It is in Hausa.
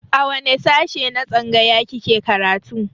A wane sashe na tsangaya kike karatu